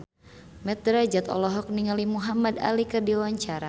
Mat Drajat olohok ningali Muhamad Ali keur diwawancara